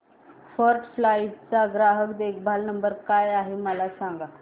first Flight चा ग्राहक देखभाल नंबर काय आहे मला सांग